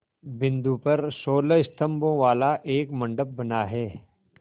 बिंदु पर सोलह स्तंभों वाला एक मंडप बना है